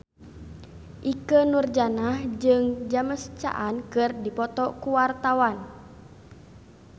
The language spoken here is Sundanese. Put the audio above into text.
Ikke Nurjanah jeung James Caan keur dipoto ku wartawan